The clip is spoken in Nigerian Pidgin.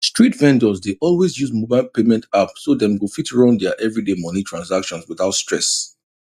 street vendors dey always use mobile payment apps so dem go fit run their everyday money transactions without stress